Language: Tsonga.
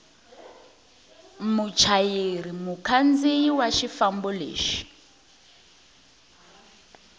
muchayeri mukhandziyi wa xifambo lexo